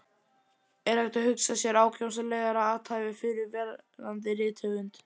Er hægt að hugsa sér ákjósanlegra athæfi fyrir verðandi rithöfund?